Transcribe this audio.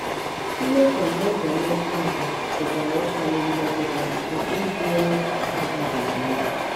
Mmetọ n’ụzọ mmekọahụ pụkwara ịkpali mmetụta nke ịbụ onye na - abaghịzi uru.